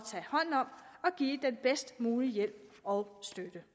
at give den bedst mulige hjælp og støtte